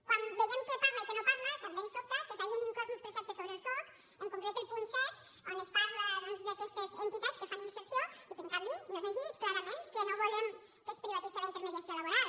quan veiem què parla i què no parla també ens sobta que s’hagin inclòs uns preceptes sobre el soc en concret el punt set on es parla doncs d’aquestes entitats que fan inserció i que en canvi no s’hagi dit clarament que no volem que es privatitzi la intermediació laboral